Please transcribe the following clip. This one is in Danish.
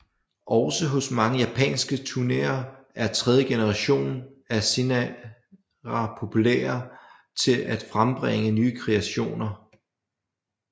Også hos mange japanske tunere er tredje generation af Serena populær til at frembringe nye kreationer